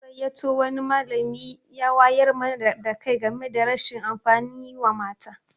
An gayyato wani malami ya wayar mana da kai game da rashin amfanin yi wa mata.